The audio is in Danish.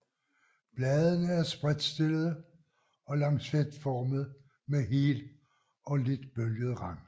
Bladene er spredtstillede og lancetformede med hel og lidt bølget rand